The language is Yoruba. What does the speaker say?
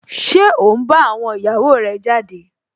Ṣé ó n bá àwọn ìyàwó rẹ̀ jáde?